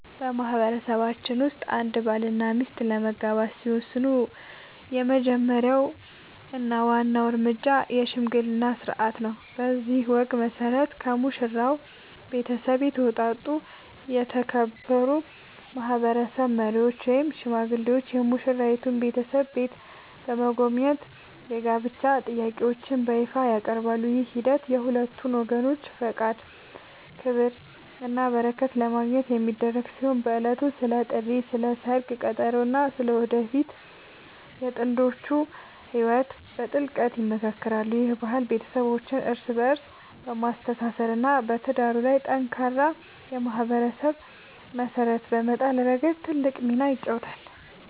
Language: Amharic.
በማህበረሰባችን ውስጥ አንድ ባልና ሚስት ለመጋባት ሲወስኑ የመጀመሪያው እና ዋናው እርምጃ **የሽምግልና ሥርዓት** ነው። በዚህ ወግ መሠረት፣ ከሙሽራው ቤተሰብ የተውጣጡ የተከበሩ ማህበረሰብ መሪዎች ወይም ሽማግሌዎች የሙሽራይቱን ቤተሰብ ቤት በመጎብኘት የጋብቻ ጥያቄያቸውን በይፋ ያቀርባሉ። ይህ ሂደት የሁለቱን ወገኖች ፈቃድ፣ ክብርና በረከት ለማግኘት የሚደረግ ሲሆን፣ በዕለቱም ስለ ጥሪት፣ ስለ ሰርግ ቀጠሮ እና ስለ ወደፊቱ የጥንዶቹ ህይወት በጥልቀት ይመካከራሉ። ይህ ባህል ቤተሰቦችን እርስ በእርስ በማስተሳሰር እና በትዳሩ ላይ ጠንካራ የማህበረሰብ መሰረት በመጣል ረገድ ትልቅ ሚና ይጫወታል።